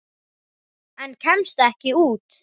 En kemst ekki út.